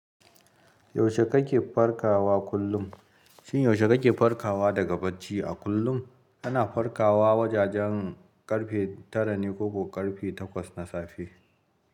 Yaushe kake farkawa kullum? Shin yaushe kake farkawa daga bacci a kullum? Kana farkawa wajajen ƙarfe tara ne ko ko ƙarfe takwas na safe?